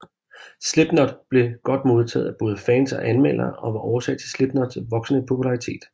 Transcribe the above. Slipknot blev godt modtaget af både fans og anmeldere og var årsag til Slipknots voksende popularitet